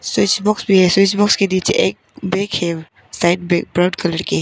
Switch box भी है switch box के नीचे एक बैग है साइड बैग कलर के।